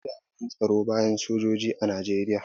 Akwai jami'an tsaro bayan sojoji a Najeriya.